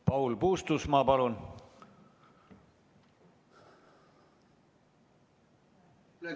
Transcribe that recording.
Paul Puustusmaa, palun!